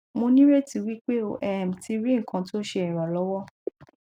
mo nireti wipe o um ti ri nkan to se iranlowo